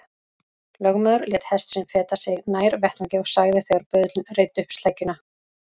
Lögmaður lét hest sinn feta sig nær vettvangi og sagði þegar böðullinn reiddi upp sleggjuna